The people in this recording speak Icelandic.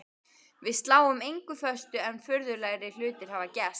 Við sláum engu föstu en furðulegri hlutir hafa gerst.